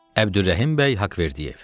Əbdürrəhim bəy Haqverdiyev.